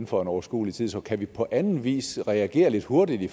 for en overskuelig tid så kan vi på anden vis reagere lidt hurtigt i